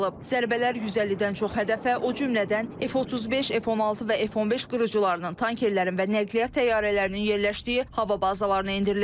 Zərbələr 150-dən çox hədəfə, o cümlədən F-35, F-16 və F-15 qırıcılarının, tankerlərin və nəqliyyat təyyarələrinin yerləşdiyi hava bazalarına endirilib.